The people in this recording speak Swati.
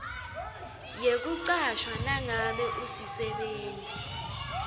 yekucashwa nangabe usisebenti